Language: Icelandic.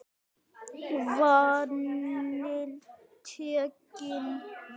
Vaninn tekinn við.